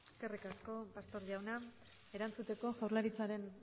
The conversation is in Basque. eskerrik asko pastor jauna erantzuteko jaurlaritzaren